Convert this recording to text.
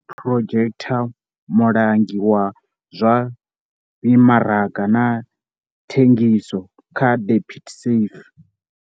Matthys Potgieter, mulangi wa zwa mimaraga na thengiso kha DebtSafe.